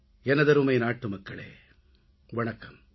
எனதருமை நாட்டுமக்களே வணக்கம்